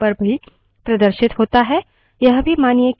यह भी मानिए कि जब हम किसी command को निष्पादित करते हैं कुछ error भी आते हैं